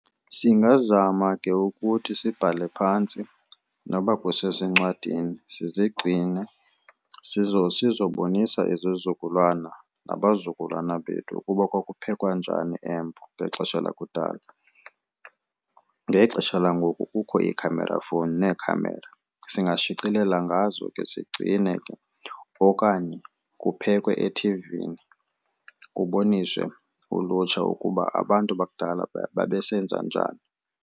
Singazama ke ukuthi sibhale phantsi noba kusezincwadini sizigcine sizobonisa izizukulwana nabazukulwana bethu ukuba kwakuphekwa njani eMbo ngexesha lakudala. Ngexesha langoku kukho i-camera phone nee-camera, singashicilela ngazo ke sigcine okanye kuphekwe ethivini kuboniswe ulutsha ukuba abantu bakudala babesenza njani.